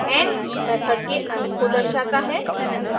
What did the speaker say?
and end method के अंत को दर्शाता है